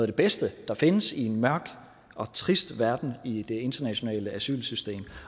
det bedste der findes i en mørk og trist verden i det internationale asylsystem